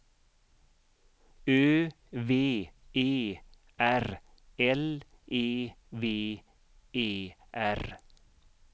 Ö V E R L E V E R